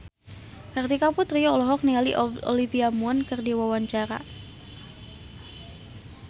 Kartika Putri olohok ningali Olivia Munn keur diwawancara